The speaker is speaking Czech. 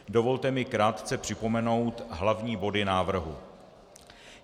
Dovolte mi krátce připomenout hlavní body návrhu.